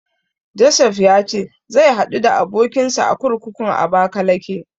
Josef ya ce zai haɗu da abokinsa a kurkukun Abakalake.